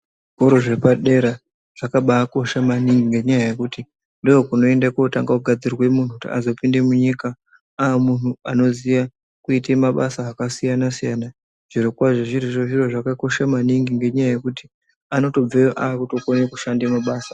Zvikoro zvepadera zvakabakosha maningi ngenyaya yekuti ndokunoende kotange kugadzirwe muntu kuti azopinde munyika amuntu anoziya kuite mabasa akasiyana siyana zvirokwazvo zvirizvo zviro zvakakosha maningi ngenyaya yekuti anotobveyo akutokone kushanda mabasa.